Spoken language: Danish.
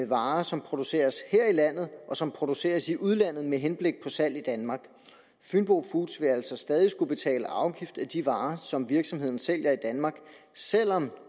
varer som produceres her i landet og som produceres i udlandet med henblik på salg i danmark fynbo foods vil altså stadig skulle betale afgift af de varer som virksomheden sælger i danmark selv om